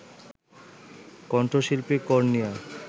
কণ্ঠশিল্পী কর্ণিয়া